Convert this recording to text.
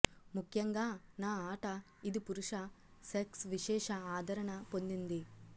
ముఖ్యంగా నా ఆట ఇది పురుష సెక్స్ విశేష ఆదరణ పొందింది